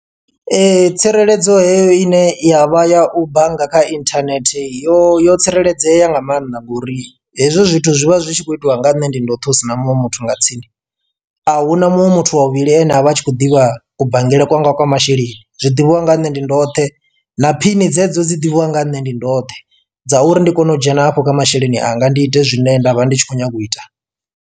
Tsireledzo heyo ine ya vha ya u bannga kha inthanethe yo yo tsireledzea nga maanḓa ngori hezwo zwithu zwi vha zwi tshi khou itiwa nga nne ndi ndoṱhe husina muṅwe muthu nga tsini. Ahuna muṅwe muthu wa vhuvhili ane avha a tshi khou ḓivha ku banngele kwanga kwa masheleni zwiḓivhiwa nga nne ndi ndoṱhe na phini dzedzo dzi ḓivhiwa nga nne ndi ndoṱhe dza uri ndi kone u dzhena afho kha masheleni anga ndi ite zwine nda vha ndi tshi khou nyanga u ita.